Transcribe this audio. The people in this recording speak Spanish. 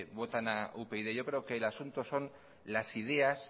votan a upyd yo creo que el asunto son las ideas